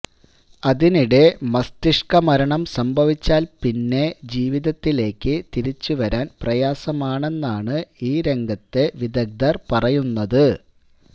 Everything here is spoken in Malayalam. അതിനിടെ മസ്തിഷ്ക മരണം സംഭവിച്ചാല് പിന്നെ ജീവിതത്തിലേക്ക് തിരിച്ചുവരാന് പ്രയാസമാണെന്നാണ് ഈ രംഗത്തെ വിദഗ്ധര് പറയുന്നത്